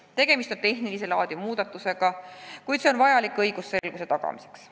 Tegemist on tehnilist laadi muudatusega, mis on vajalik õigusselguse tagamiseks.